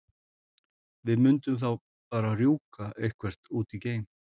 Við mundum þá bara rjúka eitthvert út í geim!